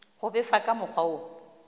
go befa ka mokgwa wo